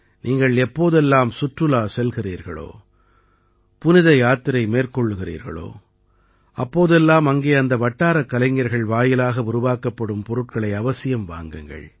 நீங்கள் எப்போதெல்லாம் சுற்றுலா செல்கிறீர்களோ புனித யாத்திரை மேற்கொள்கிறீர்களோ அப்போதெல்லாம் அங்கே அந்த வட்டாரக் கலைஞர்கள் வாயிலாக உருவாக்கப்படும் பொருட்களை அவசியம் வாங்குங்கள்